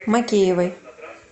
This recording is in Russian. макеевой